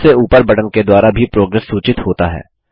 सबसे ऊपर बटन के द्वारा भी प्रोग्रेस प्रगति सूचित होता है